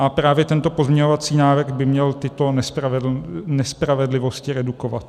A právě tento pozměňovací návrh by měl tyto nespravedlivosti redukovat.